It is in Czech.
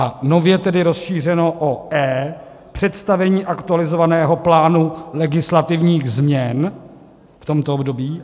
a nově tedy rozšířeno o e) představení aktualizovaného plánu legislativních změn v tomto období;